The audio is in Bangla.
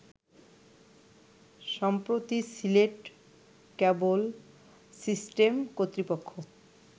সম্প্রতি সিলেট ক্যাবল সিস্টেম কর্তৃপক্ষ